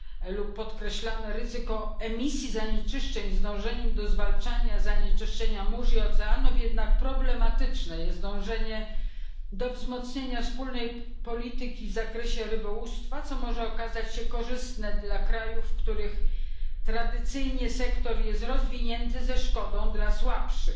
lub podkreślane ryzyko emisji zanieczyszczeń, przy dążeniu do zwalczania zanieczyszczenia mórz i oceanów. Problematyczne jest jednak dążenie do wzmocnienia wspólnej polityki w zakresie rybołówstwa, co może okazać się korzystne dla krajów, w których tradycyjnie sektor jest rozwinięty ze szkodą dla słabszych.